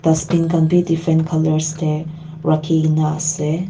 dustbin khan bi different colours tae rakhi kaenaase.